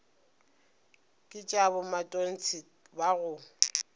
ke tša bomatontshe ba go